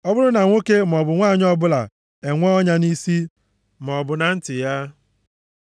“Ọ bụrụ na nwoke maọbụ nwanyị ọbụla enwee ọnya nʼisi, maọbụ na nti ya,